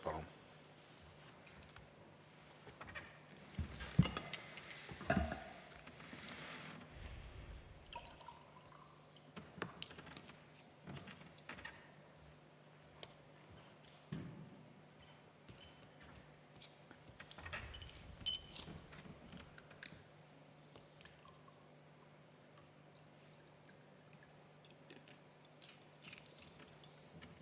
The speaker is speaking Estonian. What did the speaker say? Palun!